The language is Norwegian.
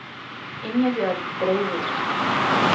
Ingebjørg Breivik